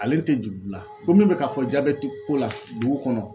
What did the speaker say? Ale tɛ jigi u la ko min bɛ ka fɔ ko la dugu kɔnɔ